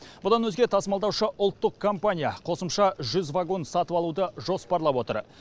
бұдан өзге тасымалдаушы ұлттық компания қосымша жүз вагон сатып алуды жоспарлап отыр